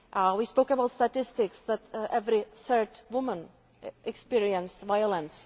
We spoke about statistics and said that every third woman experiences violence.